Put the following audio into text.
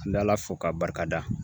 An bɛ Ala fo k'a barikada